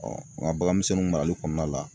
ŋa bagan misɛnninw marali kɔɔna la